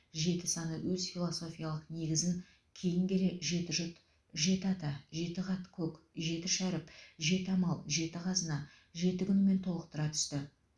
жеті саны өз философиялық негізін кейін келе жеті жұт жеті ата жеті қат көк жеті шәріп жеті амал жеті қазына жеті күнімен толықтыра түсті